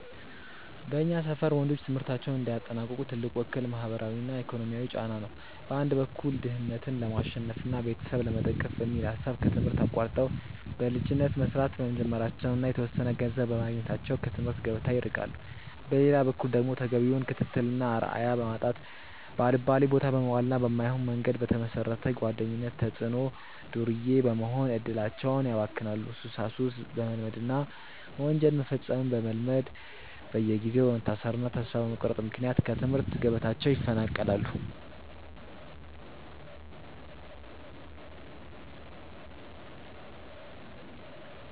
በእኛ ሰፈር ወንዶች ትምህርታቸውን እንዳያጠናቅቁ ትልቁ እክል ማህበራዊና ኢኮኖሚያዊ ጫና ነው። በአንድ በኩል ድህነትን ለማሸነፍና ቤተሰብ ለመደገፍ በሚል ሐሳብ ከትምህርት አቋርጠው በልጅነት መስራት በመጀመራቸውና የተወሰነ ገንዘብ በማግኘታቸው ከትምህርት ገበታ ይርቃሉ። በሌላ በኩል ደግሞ ተገቢውን ክትትልና አርአያ በማጣት፣ ባልባሌቦታ በመዋልና በማይሆን መንገድ በተመሰረተ ጓደኝነት ተጽዕኖ ዱርዬ በመሆን እድላቸውን ያባክናሉ፤ ሱሳሱስ በመልመድና ወንጀል መፈጸምን በመልመድ በየጊዜው በመታሰርና ተስፋ በመቁረጥ ምክንያት ከትምህርት ገበታቸው ይፈናቀላሉ።